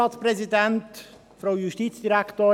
– Das scheint der Fall zu sein.